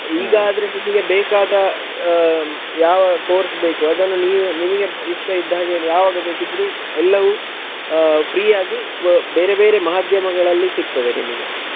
ಈಗ ಆದ್ರೆ ನಿಮಿಗೆ ಬೇಕಾದ ಆಹ್ ಯಾವ course ಬೇಕು ಅದನ್ನು ನೀನು ನಿಮಿಗೆ ಇಷ್ಟಇದ್ಹಾಗೆ ಯಾವಾಗ ಬೇಕಿದ್ರು ಎಲ್ಲವೂ ಆಹ್ free ಆಗಿ ಮ~ ಬೇರೆ ಬೇರೆ ಮಾಧ್ಯಮಗಳಲ್ಲಿ ಸಿಕ್ತದೆ ನಿಮಿಗೆ.